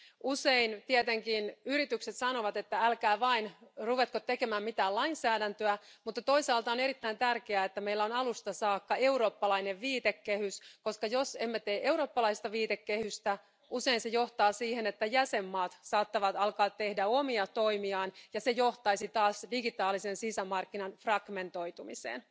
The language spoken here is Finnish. Usein tietenkin yritykset sanovat, että älkää vain ruvetko tekemään mitään lainsäädäntöä, mutta toisaalta on erittäin tärkeää, että meillä on alusta saakka eurooppalainen viitekehys, koska jos emme tee eurooppalaista viitekehystä, se johtaa usein siihen, että jäsenvaltiot saattavat alkaa tehdä omia toimiaan, ja se johtaisi taas digitaalisen sisämarkkinan fragmentoitumiseen.